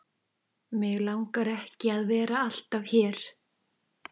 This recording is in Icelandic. Mig langar ekki að vera alltaf hér.